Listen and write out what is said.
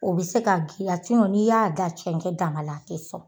O bɛ se ka n'i y'a da cɛncɛn dama la a tɛ sɔn.